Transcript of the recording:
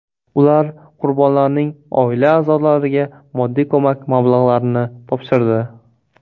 Ular qurbonlarning oila a’zolariga moddiy ko‘mak mablag‘larini topshirdi.